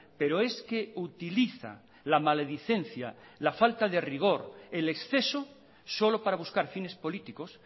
pero es que utiliza la maledicencia la falta de rigor el exceso solo para buscar fines políticos